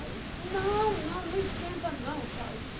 Aí, não, não, não esquenta não e tal, e disse